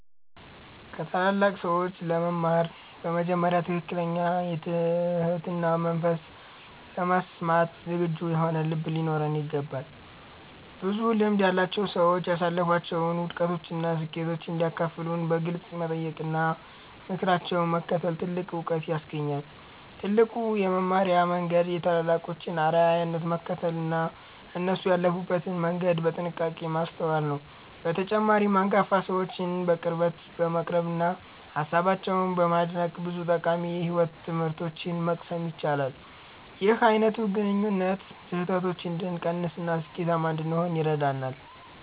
ከታላላቅ ሰዎች ለመማር በመጀመሪያ ትክክለኛ የትህትና መንፈስና ለመስማት ዝግጁ የሆነ ልብ ሊኖረን ይገባል። ብዙ ልምድ ያላቸው ሰዎች ያሳለፏቸውን ውድቀቶችና ስኬቶች እንዲያካፍሉን በግልጽ መጠየቅና ምክራቸውን መከተል ትልቅ ዕውቀት ያስገኛል። ትልቁ የመማሪያ መንገድ የታላላቆችን አርአያነት መከተልና እነሱ ያለፉበትን መንገድ በጥንቃቄ ማስተዋል ነው። በተጨማሪም፣ አንጋፋ ሰዎችን በቅርበት በመቅረብና ሃሳባቸውን በማድነቅ ብዙ ጠቃሚ የሕይወት ትምህርቶችን መቅሰም ይቻላል። ይህ አይነቱ ግንኙነት ስህተቶችን እንድንቀንስና ስኬታማ እንድንሆን ይረዳናል።